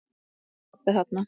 Pabbi er þarna.